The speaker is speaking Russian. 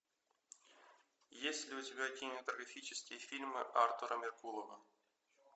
есть ли у тебя кинематографические фильмы артура меркулова